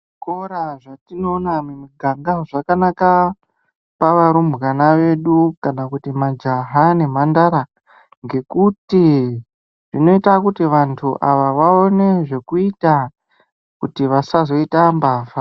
Zvikora zvatinoona mumiganga zvakanaka pavarumbwana vedu, kana kuti majaha nemhandara, ngekuti zvinoita kuti vantu ava vaone zvekuita, kuti vasazoita mbavha.